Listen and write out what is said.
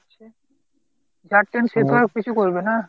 যার train সে তো আর কিছু করবে না।